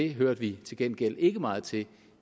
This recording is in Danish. hørte vi til gengæld ikke meget til